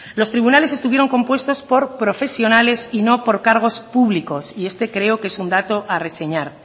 los tribunales estuvieron compuestos por profesionales y no por cargos públicos y este creo que es un dato a reseñar